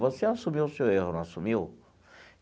Você assumiu o seu erro, não assumiu?